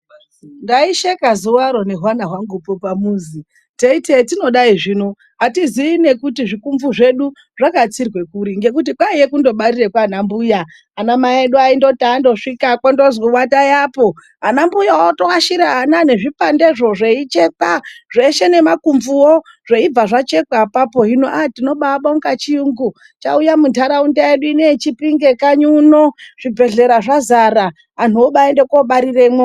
Ndaisheka zuvaro nehwana pamuzi teyiti zvatinodai zvino zvi hatizivi kuti nezvikumbu zvedu zvino zvatsirwa kuri ngekuti kwaiva kungobarirwe kwa mbuya ana mai edu ayindoti ando svika ayindozi atayi apo anambuya ota ashira ana nezvipandezvo zveyichekwa zveshe nemakubvu woo zveibva zvachekwa apapo ha tino baibonga chiyungu chauya muntaraunda yedu inoyeChipinge kanyi uno zvibhedhlera zvazara anhu ombayino bariremwo.